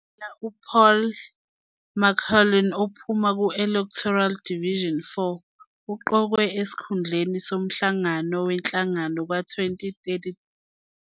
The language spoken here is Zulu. U-Paul McLauchlin, ophuma ku-electoral Division 4, uqokwe esikhundleni somhlangano wenhlangano ka-2013.